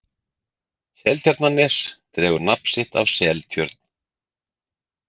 Seltjarnarnes dregur nafn sitt af Seltjörn.